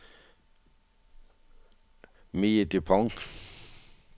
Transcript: Mie Dupont